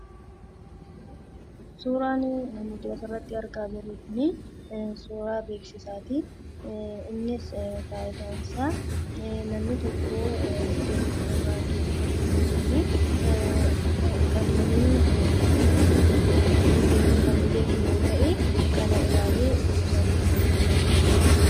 Suuraan asirratti argaa jirru kun suuraa beeksisaati. Innis faayidaan isaa namni tokko iddoo tokkorraa iddoo tokko yoo deemee kan hin beekne yoo ta'e, kana ilaalee iddoosaa akka beekuuf kan gargaarudha.